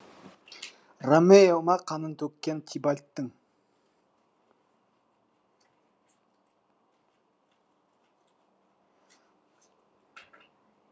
ромео ма қанын төккен тибальттың